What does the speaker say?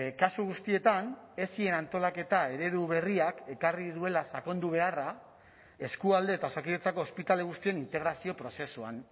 kasu guztietan esien antolaketa eredu berriak ekarri duela sakondu beharra eskualde eta osakidetzako ospitale guztien integrazio prozesuan